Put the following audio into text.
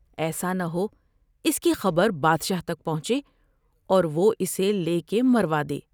ایسا نہ ہو اس کی خبر بادشاہ تک پہنچے اور وہ اسے لے کے مروادے ۔